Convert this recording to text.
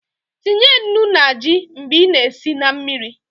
Tinye nnu na ji mgbe I na- esi na mmiri